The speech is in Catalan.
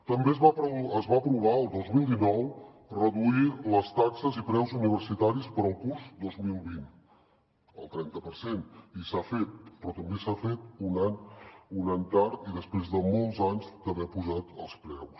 també es va aprovar el dos mil dinou reduir les taxes i preus universitaris per al curs dos mil vint el trenta per cent i s’ha fet però també s’ha fet un any tard i després de molts anys d’haver apujat els preus